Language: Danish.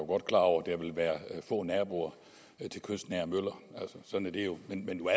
godt klar over at der vil være få naboer til kystnære møller sådan er det jo men